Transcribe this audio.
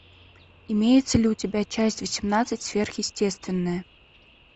имеется ли у тебя часть восемнадцать сверхъестественное